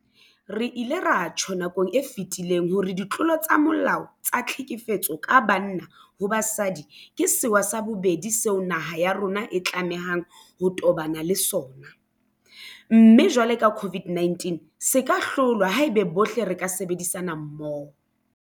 Re ile ra tjho nakong e fetileng hore ditlolo tsa molao tsa tlhekefetso ka banna ho basadi ke sewa sa bobedi seo naha ya rona e tlamehang ho tobana le sona, mme jwalo ka COVID-19 se ka hlolwa haeba bohle re ka sebedisana mmoho.